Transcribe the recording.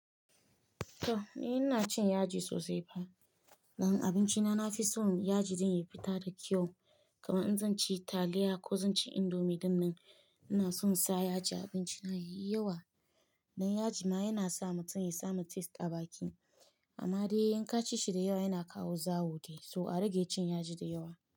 To! Ni ina cin yaji sosai fa. Dan abinci na, na fi son yaji ɗin ya fita da kyau. Kaman in zan ci taliya ko zan ci indomie dinnan, ina son sa yaji a abinci na yawa. Dan yaji ma yana sa mutum ya samu taste a baki. Amma dai in ka ci shi da yawa yana kawo zawo dai. So a rage cin yaji da yawa.